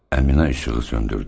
Əminə işığı söndürdü.